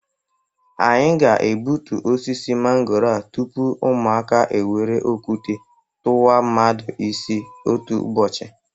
Anyị ga-ebutu osisi mangooro a tupu ụmụaka ewere okute kụwa mmadụ isi otu ụbọchi